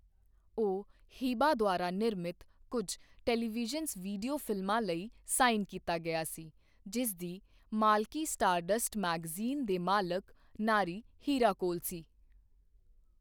ਉਹ ਹਿਬਾ ਦੁਆਰਾ ਨਿਰਮਿਤ ਕੁਝ ਟੈਲੀਵਿਜ਼ਨ ਵੀਡੀਓ ਫਿਲਮਾਂ ਲਈ ਸਾਈਨ ਕੀਤਾ ਗਿਆ ਸੀ, ਜਿਸ ਦੀ ਮਾਲਕੀ ਸਟਾਰਡਸਟ ਮੈਗਜ਼ੀਨ ਦੇ ਮਾਲਕ ਨਾਰੀ ਹੀਰਾ ਕੋਲ ਸੀ।